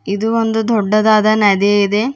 ಇದು ಒಂದು ದೊಡ್ಡದಾದ ನದಿ ಇದೆ.